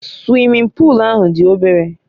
Suwimin puulu ahụ dị obere